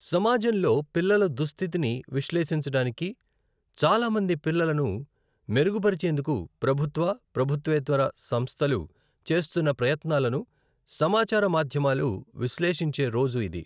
సమాజంలో పిల్లల దుస్థితిని విశ్లేషించడానికి, చాలా మంది పిల్లలను మెరుగుపరిచేందుకు ప్రభుత్వ, ప్రభుత్వేతర సంస్థలు చేస్తున్న ప్రయత్నాలను సమాచార మాధ్యమాలు విశ్లేషించే రోజు ఇది.